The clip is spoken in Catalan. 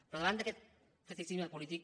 però davant d’aquest tacticisme polític